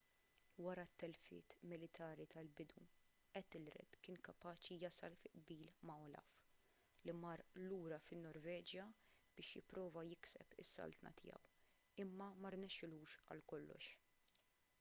wara t-telfiet militari tal-bidu ethelred kien kapaċi jasal fi qbil ma' olaf li mar lura fin-norveġja biex jipprova jikseb is-saltna tiegħu imma ma rnexxilux għal kollox